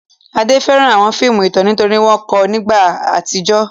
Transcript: Ade fẹ́ràn àwọn fíìmù ìtàn nítorí wọ́n kọ́ ọ nípa ìgbà àtijọ́.